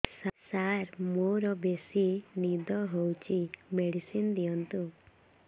ସାର ମୋରୋ ବେସି ନିଦ ହଉଚି ମେଡିସିନ ଦିଅନ୍ତୁ